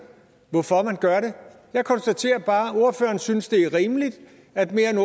hvorfor man gør det jeg konstaterer bare at ordføreren synes det er rimeligt at mere end